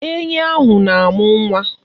Enyi ahụ na-amụ nwa.